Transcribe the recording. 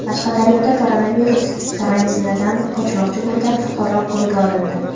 Qashqadaryoda koronavirus karantinidan qochmoqchi bo‘lgan fuqaro qo‘lga olindi.